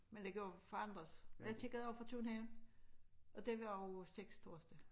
Men det kan jo forandres og jeg tjekkede også for København og det var også 6 torsdag